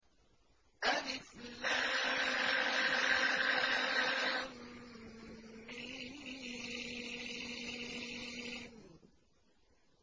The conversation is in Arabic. الم